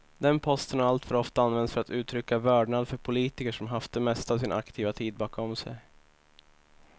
Den posten har alltför ofta använts för att uttrycka vördnad för politiker som haft det mesta av sin aktiva tid bakom sig.